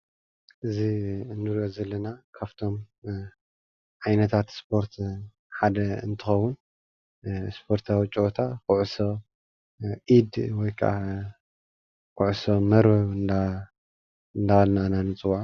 እዚ እንሪኦ ዘለና ካብቶም ዓይነታት ስፖርት ሓደ እንትከውን ስፖርታዊ ፀወታ ኩዕሶ ኢድ ወይ ካዓ ኩዕሶ መርበብ እናበልና ኢና ንፅዎዖ፡፡